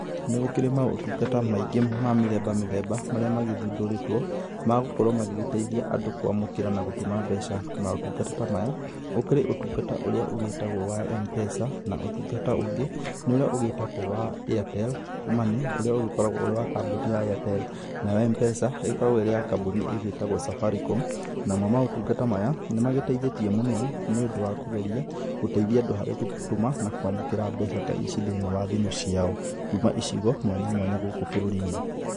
Nĩ gũkĩrĩ maũtungata maingĩ ma mĩthemba mĩthemba, marĩa magĩthundũrĩtwo magũkorwo magĩteithia andũ kũamũkĩra na gũtũma mbeca. Maũtungata ta maya, gũkĩrĩ ũtungata ũrĩa ũgíĩtagwo wa M-PESA na ũtũngata ũngĩ nĩ ũrĩa ũgĩitagwo wa Airtel money, ũrĩa ũgĩkoragwo ũrĩ wa kambuni ya Airtel, nayo M-pesa ĩkoragwo ĩrĩ ya kambuni ĩgíĩtagwo Safaricom. Namo maũtungata maya, ni magĩteithĩtie mũno, nĩ ũndũ wa kũgeria gũteithia andũ harĩ gũtũma na kũamũkĩra mbeca thimũ-inĩ ciao kũma icigo mwanya mwanya gũkũ bũrũri-inĩ.